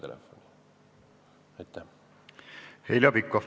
Heljo Pikhof, palun!